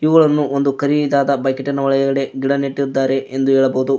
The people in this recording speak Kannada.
ಇವುಗಳನ್ನು ಒಂದು ಕರಿದಾದ ಬಕೀಟಿನ ಒಳಗಡೆ ಗಿಡ ನೆಟ್ಟಿದ್ದಾರೆ ಎಂದು ಹೇಳಬಹುದು.